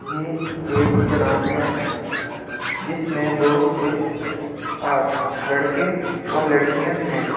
ये एक ग्राउंड है जिसमें बहुत से आज लड़के और लड़कियां हैं।